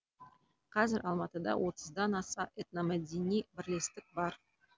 қазір алматыда отыздан аса этномәдени бірлестік бар